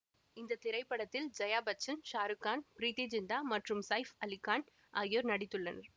இந்த திரைப்படத்தில் ஜெயா பச்சான் ஷாருக் கான் ப்ரீத்தி ஜிந்தா மற்றும் சைஃப் அலி கான் ஆகியோர் நடித்துள்ளனர்